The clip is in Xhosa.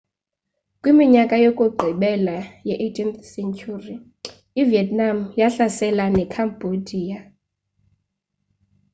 kwiminyaka yokugqibela ye-18 sentyhuri ivietnam yahlasela nekhambodiya